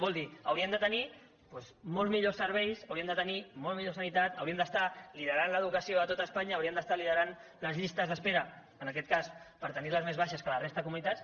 vol dir hauríem de tenir doncs molt millors serveis hauríem de tenir molt millor sanitat hauríem d’estar liderant l’educació a tot espanya hauríem d’estar liderant les llistes d’espera en aquest cas per tenir les més baixes que la resta de comunitats